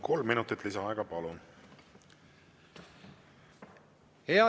Kolm minutit lisaaega, palun!